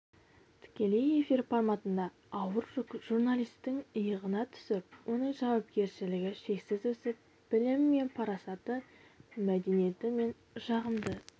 тікелей эфир форматында ауыр жүк журналистің иығына түсіп оның жауапкершілігі шексіз өсіп білімі мен парасаты мәдениеті мен жағымды